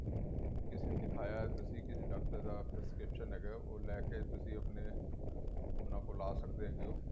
ਕਿਸੀ ਨੂੰ ਦੱਖਾਇਆ ਏ ਤੁਸੀਂ ਕਿਸੀ ਡਾਕਟਰ ਦਾ ਹੈਗਾ ਉਹ ਲੈਕੇ ਤੁਸੀਂ ਆਪਣੇ ਉਹਨਾ ਕੋਲ ਆਂ ਸਕਦੇ ਹੈਗੇ ਹੋ